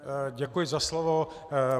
Děkuji za slovo.